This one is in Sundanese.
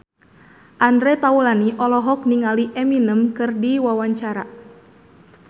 Andre Taulany olohok ningali Eminem keur diwawancara